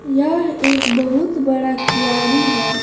यह एक बहुत बड़ा क्यारी है।